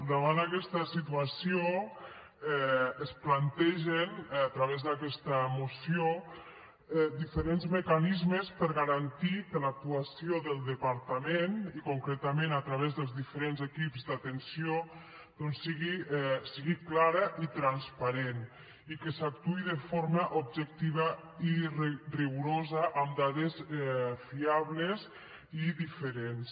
davant aquesta situació es plantegen a través d’aquesta moció diferents mecanismes per garantir que l’actuació del departament i concretament a través dels diferents equips d’atenció doncs sigui clara i transparent i que s’actuï de forma objectiva i rigorosa amb dades fiables i diferents